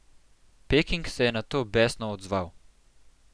Peking se je na to besno odzval.